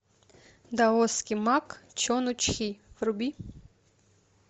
даосский маг чон у чхи вруби